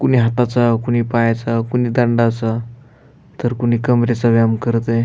कुणी हाताचा कुणी पायाचा कुणी दंडाचा तर कुणी कंबरेचा व्यायाम करतय.